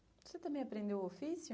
Você também aprendeu o ofício?